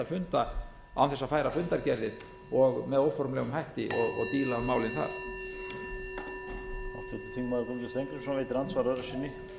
funda án þess að færa fundargerðir og með óformlegum hætti og díla um málin þar